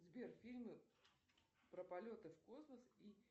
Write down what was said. сбер фильмы про полеты в космос и